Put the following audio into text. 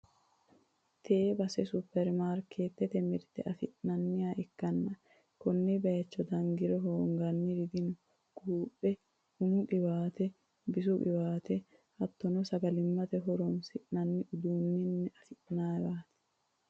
tee base supperimaarikeetete mirte afi'nanniwa ikkanna, konne bayicho dangiro hoonganniri dino, quuphe, umu qiwaate, bisu qiwaate, hattono sagalimmate horonsi'nanni uduunneno afi'nanniwaati.